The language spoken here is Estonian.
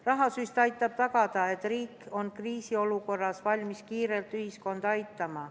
Rahasüst aitab tagada, et riik on kriisiolukorras valmis kiirelt ühiskonda aitama.